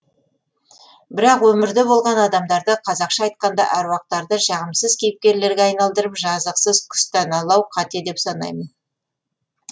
бірақ өмірде болған адамдарды қазақша айтқанда аруақтарды жағымсыз кейіпкерлерге айналдырып жазықсыз күстәналау қате деп санаймын